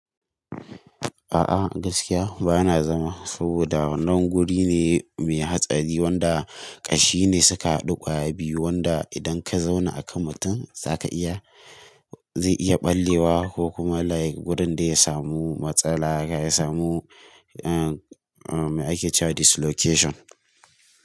A'a gaskiya ba na zama saboda nan guri ne mai hatsari wanda ƙashi ne suka haɗu ƙwaya biyu wanda idan ka zauna a kan mutum zaka iya, zai iya ɓallewa ko kuma like gurin dai ya samu matsala haka ya samu eh. Mai ake cewa dislocation.